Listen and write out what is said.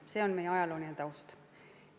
See on meie ajalooline taust.